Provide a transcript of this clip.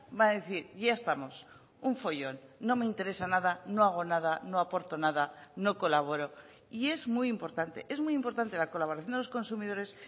va a decir ya estamos un follón no me interesa nada no hago nada no aporto nada no colaboro y es muy importante es muy importante la colaboración de los consumidores